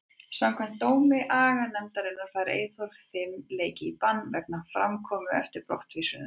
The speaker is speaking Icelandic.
Samkvæmt dómi aganefndarinnar fær Eyþór fimm leiki í bann vegna framkomu eftir brottvísunina.